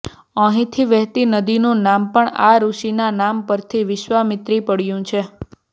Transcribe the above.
અહીંથી વહેતી નદીનું નામ પણ આ ઋષિના નામ પરથી વિશ્વામિત્રી પડ્યું છે